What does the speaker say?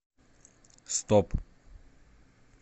стоп